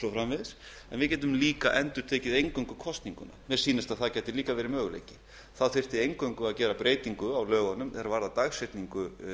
framvegis við getum líka endurtekið eingöngu kosninguna mér sýnist að það gæti líka verið möguleiki þá þyrfti eingöngu að gera breytingu á lögunum er varðar dagsetningu